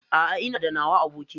A'a Ina da nawa abokin.